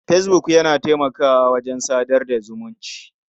Fesbuk yana taimakawa wajen sadar da zumunci.